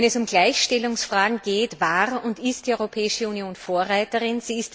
Wenn es um Gleichstellungsfragen geht, war und ist die Europäische Union Vorreiterin